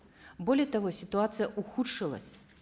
более того ситуация ухудшилась